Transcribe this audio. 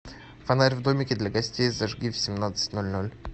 фонарь в домике для гостей зажги в семнадцать ноль ноль